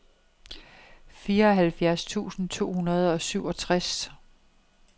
fireoghalvfjerds tusind to hundrede og syvogtres